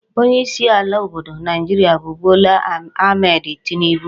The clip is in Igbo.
onye isi ala obodo Naijiria bu Bola Ahmed Tinubu